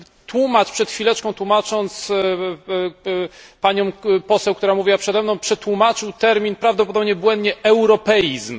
Tłumacz przed chwileczką, tłumacząc panią poseł, która mówiła przed mną, przetłumaczył termin, prawdopodobnie błędnie, europeizm.